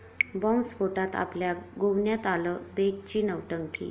बॉम्बस्फोटात आपल्या गोवण्यात आलं, बेगची नौटंकी